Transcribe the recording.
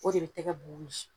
O de be tɛgɛ bu wili